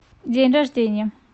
день рождения